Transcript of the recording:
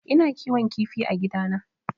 Ina kiwon kifi a gidana